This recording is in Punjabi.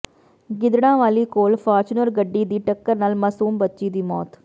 ਗਿੱਦੜਾਂਵਾਲੀ ਕੋਲ ਫਾਰਚੂਨਰ ਗੱਡੀ ਦੀ ਟੱਕਰ ਨਾਲ ਮਾਸੂਮ ਬੱਚੀ ਦੀ ਮੌਤ